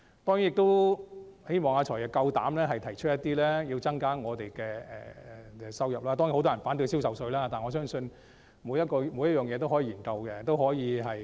我希望"財爺"有膽量提出增加收入的措施，當然很多人反對銷售稅，但我相信每項方案均可以研究。